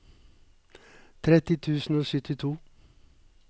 tretti tusen og syttito